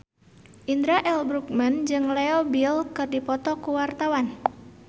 Indra L. Bruggman jeung Leo Bill keur dipoto ku wartawan